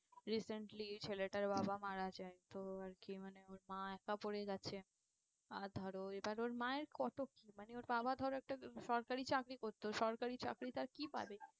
Recently ছেলেটার বাবা মারা যায় তো আর কি মানে ওর মা একা পরে গেছে। আর ধরো এবার ওর মায়ের কত কি মানে ওর বাবা ধরো একটা সরকারি চাকরি করতো, সরকারি চাকরিতে আর কি পাবে?